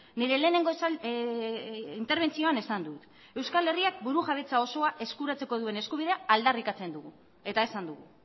nire lehenengo interbentzioan esan dut euskal herriak burujabetza osoa eskuratzeko duen eskubidea aldarrikatzen dugu eta esan dugu